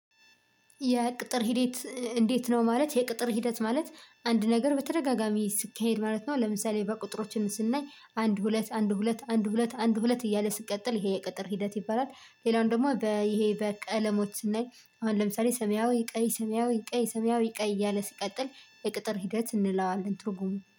የቅጥር ሂደት እንዴት ነው? ማለት የቅጥር ሂደት ማለት አንድ ነገር በተደጋጋሚ ሲካሄድ ማለት ነው። ለምሳሌ በቁጥሮች ስናይ አንድ ሁለት አንድ ሁለት አንድ ሁለት አንድ ሁለት እያለ ስቀጥል ይሄ የቅጥር ሂደት ይባላል ሌላው ደግሞ ይሄ በቀለሞች ስናይ አሁን ለምሳሌ ሰሚያዊ ቀይ ሰሚያዊ ቀይ ሰሚያዊ ቀይ እያለ ሲቀጥል የቅጥር ሂደት እንለዋለን ትርጉሙ